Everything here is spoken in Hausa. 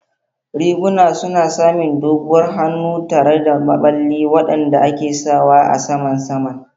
Riguna suna samin doguwar hannu tare da maɓalli waɗanda ke sawa a saman saman.